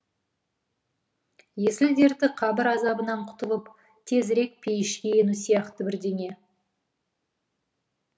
есіл дерті қабір азабынан құтылып тезірек пейішке ену сияқты бірдеңе